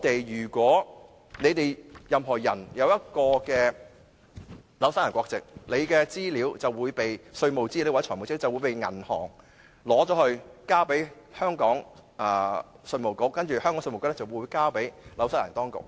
如果任何人擁有新西蘭國籍，其稅務或財務資料就會被銀行交給香港稅務局，再由稅局把資料交給新西蘭當局。